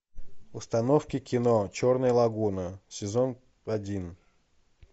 установка кино черная лагуна сезон один